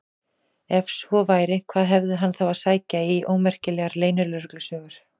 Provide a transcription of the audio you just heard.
Ef svo væri, hvað hafði hann þá að sækja í ómerkilegar leynilögreglusögur?